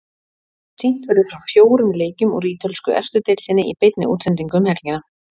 Sýnt verður frá fjórum leikjum úr ítölsku efstu deildinni í beinni útsendingu um helgina.